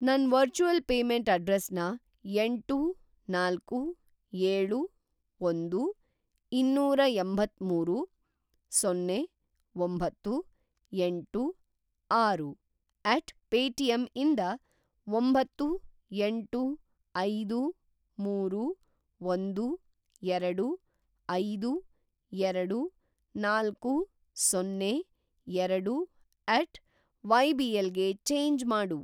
ನನ್‌ virtual payment ಅಡ್ರೆಸ್‌ನ ಎಂಟು, ನಾಲ್ಕು,,ಏಳು, ಒಂದು, ಇನ್ನೂರಎಂಬತ್ಮೂರು, ಸೊನ್ನೆ, ಒಂಬತ್ತು, ಎಂಟು, ಆರು ಎಟ್ ಪೇಟಿಎಮ್ ಇಂದ ಒಂಬತ್ತು, ಎಂಟು, ಐದು, ಮೂರು, ಒಂದು, ಎರಡು, ಐದು, ಎರಡು, ನಾಲ್ಕು, ಸೊನ್ನೆ, ಎರಡು ಎಟ್ ವೈಬಿಎಲ್ ಗೆ ಚೇಂಜ್‌ ಮಾಡು.